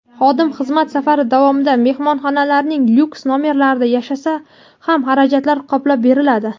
Xodim xizmat safari davomida mehmonxonalarning lyuks-nomerlarida yashasa ham xarajatlar qoplab beriladi.